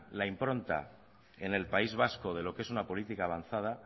la impronta en el país vasco de lo que es una política avanzada